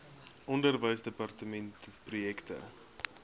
onderwysdepartementprojekte